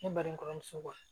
Ne balimamuso